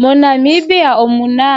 MoNamibia omuna